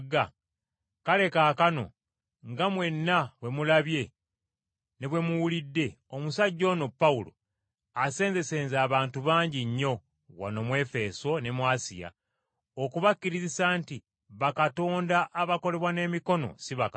Kale kaakano, nga mwenna bwe mulabye ne bwe muwulidde, omusajja ono Pawulo asenzesenze abantu bangi nnyo wano mu Efeso ne mu Asiya, okubakkirizisa nti bakatonda abakolebwa n’emikono si bakatonda.